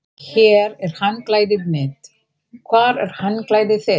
Hér er handklæðið mitt. Hvar er handklæðið þitt?